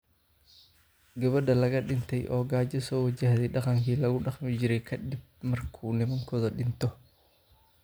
Gabadha laga dhintay oo gaajo soo wajahday dhaqankii lagu dhaqmi jiray ka dib markuu nimankoodu dhinto